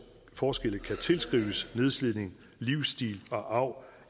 forskelle kan tilskrives nedslidning livsstil og arv